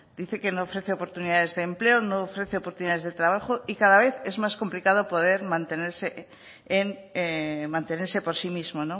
dice que no ofrece oportunidades de empleo no ofrece oportunidades de trabajo y cada vez es más complicado mantenerse por sí mismo